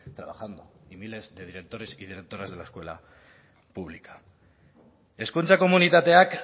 trabajando y miles de directores y directoras de la escuela pública hezkuntza komunitateak